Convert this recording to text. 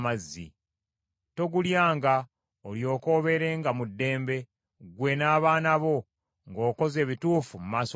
Togulyanga, olyoke obeerenga mu ddembe, ggwe, n’abaana bo, ng’okoze ebituufu mu maaso ga Mukama .